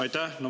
Aitäh!